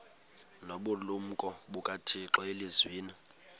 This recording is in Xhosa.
nobulumko bukathixo elizwini